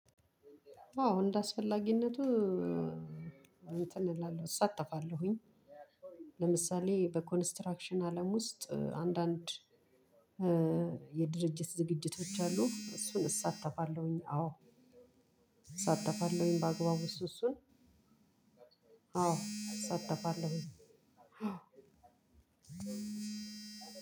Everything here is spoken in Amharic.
አዎ እንደአስፈላጊነቱ እንትን እላለሁ እሳተፋለሁኝ። ለምሳሌ በኮንስትራክሽን አለም ውስጥ አንዳንድ የድርጅት ዝግጅቶች አሉ። እሱን እሳተፋለሁኝ። አዎ እሳተፋለሁኝ ባግባቡ እሱ እሱን። አወ እሳተፋለሁኝ።